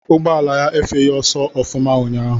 Ụgbọala ya efeghị ọsọ ọfụma unyaahụ.